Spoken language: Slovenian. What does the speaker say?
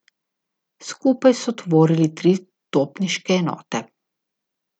Skupaj so tvorili tri topniške enote.